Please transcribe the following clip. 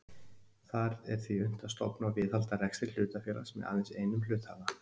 Þar er því unnt að stofna og viðhalda rekstri hlutafélags með aðeins einum hluthafa.